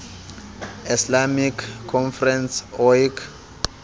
islamic conference oic